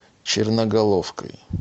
черноголовкой